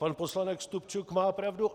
Pan poslanec Stupčuk má pravdu.